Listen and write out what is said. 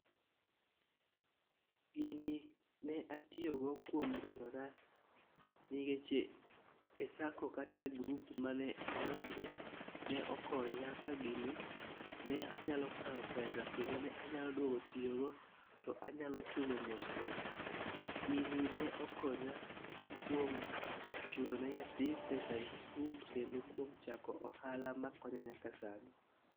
Gini ne atiyo go kuom gerora nikech e sacco kata e grup mane adonje ne okonya ka gini ne anyalo kawo pesa kendo ne anyalo duogo tiyo go to anyalo chulo mosmos. Gini ne okonya kuom chulo ne nyathi pesa e skul kendo kuom chako ohala makonya nyaka sani.